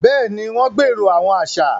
Béèni, wọn gbero awọn aṣa